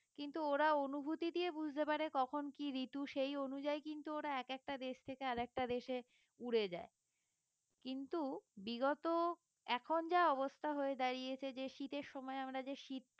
কিন্তু ওরা অনুভূতি দিয়ে বুঝতে পারে কখন কি ঋতু সেই অনুযায়ী কিন্তু ওরা এক একটা দেশ থেকে আরেকটা দেশে উড়ে যায় কিন্তু বিগত এখন যা অবস্থা হয়ে দাঁড়িয়েছে যে শীতের সময় আমরা যে শীতকালটা